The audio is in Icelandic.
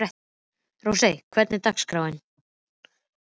Rósey, hvernig er dagskráin?